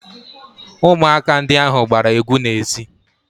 Ụmụaka ndị ahụ gbara egwu n'ezi